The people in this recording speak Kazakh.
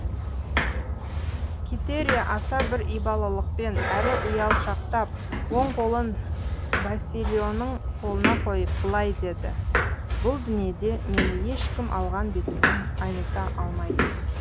китерия аса бір ибалылықпен әрі ұялшақтап оң қолын басильоның қолына қойып былай деді бұл дүниеде мені ешкім алған бетімнен айныта алмайды